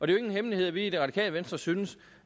jo ingen hemmelighed at vi i det radikale venstre synes